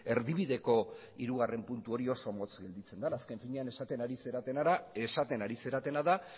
erdibideko hirugarren puntu hori oso motz gelditzen dela azken finean esaten ari zaretena da